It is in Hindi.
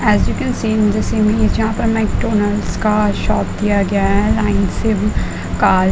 एस यू केन सी जहा पर मेकडॉनल्ड्स का शॉप किया गया है लाइन से कार --